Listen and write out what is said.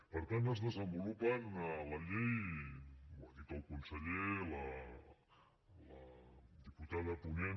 per tant es desenvolupen a la llei ho ha dit el conseller la diputada ponent